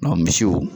misiw